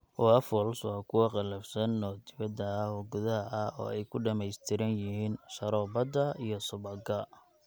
Waffles waa kuwo qallafsan oo dibadda ah oo gudaha ah, oo ay ku dhammaystiran yihiin sharoobada iyo subagga.